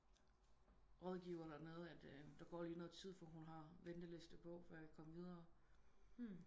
Rådgiver der nede at der går lige noget tid for hun har venteliste på før jeg kan komme videre